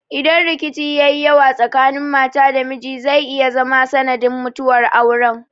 Idan rikici ya yi yawa tsakanin mata da miji zai iya zama sanadin mutuwar auren.